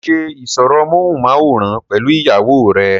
ṣé ó ṣe ìsọ̀rọ̀ móhùnmáwòrán pẹ̀lú ìyàwó rẹ?